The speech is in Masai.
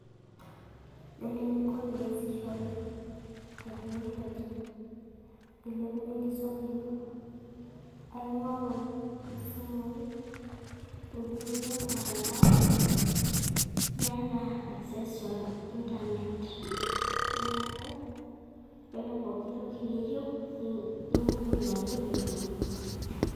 Yielo ening'o pee eyasishore tekinoloji nilepunyie enkisuma ino aing'oru esimui nijing'ie ormutantao niata akis ointanet neaku yiolo pooki toki niyieu igugul ake nitum.